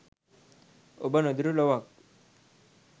ඔබ නොදු‍ටු ලොවක්